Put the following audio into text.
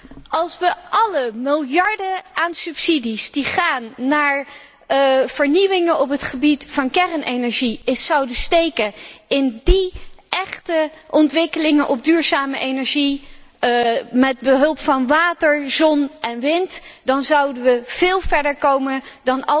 Als we alle miljarden aan subsidies die gaan naar vernieuwingen op het gebied van kernenergie zouden steken in echte ontwikkelingen op het gebied van duurzame energie, met behulp van water, zon en wind, zouden we veel verder komen dan